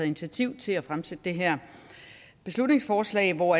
initiativ til at fremsætte det her beslutningsforslag hvor